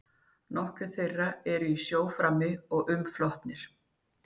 Nokkrir þeirra eru í sjó frammi og umflotnir.